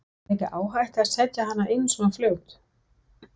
Var ekki áhætta að setja hana inn svo fljótt?